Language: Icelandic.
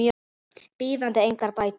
bíðandi engar bætur.